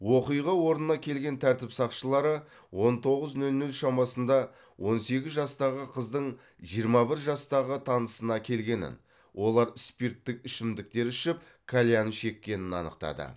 оқиға орнына келген тәртіп сақшылары он тоғыз ноль ноль шамасында он сегіз жастағы қыздың жиырма бір жастағы танысына келгенін олар спирттік ішімдіктер ішіп кальян шеккенін анықтады